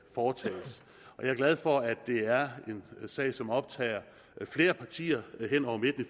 foretages jeg er glad for at det er en sag som optager flere partier hen over midten